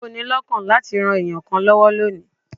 Ṣé o ni lọ́kàn láti ran ènìyàn kan lọ́wó ní òní?